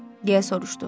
Deyə soruşdu.